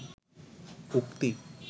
উক্তি